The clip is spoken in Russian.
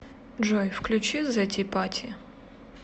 джой включи зэ ти пати